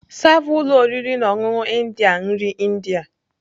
Sava ụlọ oriri na ọṅụṅụ India nri India.